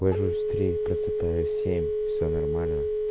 ложусь в три просыпаюсь в семь всё нормально